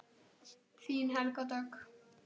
Þín Helga Dögg.